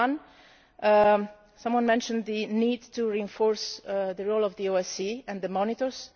Firstly, someone mentioned the need to reinforce the role of the OSCE and the